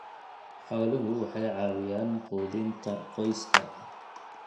Xooluhu waxay caawiyaan quudinta qoyska.